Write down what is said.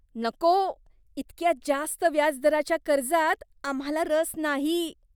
नको! इतक्या जास्त व्याजदराच्या कर्जात आम्हाला रस नाही.